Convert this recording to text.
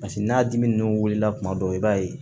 Paseke n'a dimi ninnu wulila tuma bɛɛ i b'a ye